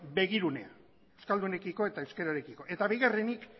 begirunea euskaldunekiko eta euskerarekiko eta bigarrenik